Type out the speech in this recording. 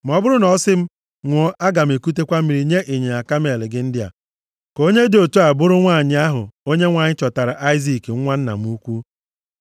ma ọ bụrụ na ọ sị m, “Ṅụọ, aga m ekutekwa mmiri nye ịnyịnya kamel gị ndị a,” ka onye dị otu a bụrụ nwanyị ahụ Onyenwe anyị chọtaara Aịzik nwa nna m ukwu.’